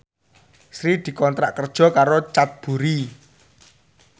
Sri dikontrak kerja karo Cadbury